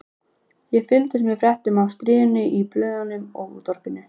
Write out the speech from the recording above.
Ég fylgdist með fréttum af stríðinu í blöðunum og útvarpinu.